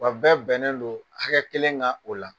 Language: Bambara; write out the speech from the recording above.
Wa bɛɛ bɛnnen non hakɛ kelen kan o la.